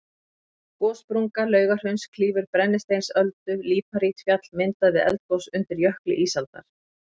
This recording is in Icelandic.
Gossprunga Laugahrauns klýfur Brennisteinsöldu, líparítfjall myndað við eldgos undir jökli ísaldar.